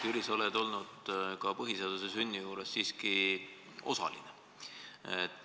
Jüri, sa oled siiski ka põhiseaduse sünni juures olnud.